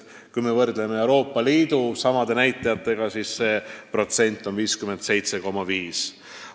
Kui me võrdleme Euroopa Liidu keskmise näitajaga, siis see on 57,5%.